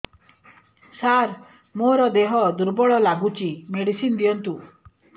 ସାର ମୋର ଦେହ ଦୁର୍ବଳ ଲାଗୁଚି ମେଡିସିନ ଦିଅନ୍ତୁ